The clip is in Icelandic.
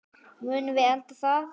Munum við enda þar?